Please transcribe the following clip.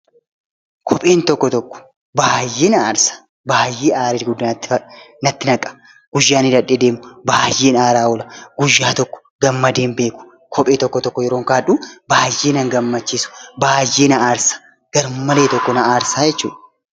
Kopheen tokko tokko baay'ee na aarsa. Baay'ee aarii guddaa natti naqa. Guyyaan hidhadhee deemu baay'een aaraa oola. Guyyaa tokko gammadee hin beeku kophee tokko tokko yeroo kaa'adhu baay'ee nan gammachiisu baay'ee na aarsa garmalee tokko na aarsa jechuudha.